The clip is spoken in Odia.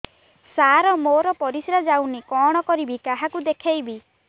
ସାର ମୋର ପରିସ୍ରା ଯାଉନି କଣ କରିବି କାହାକୁ ଦେଖେଇବି